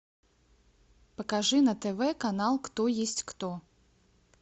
покажи на тв канал кто есть кто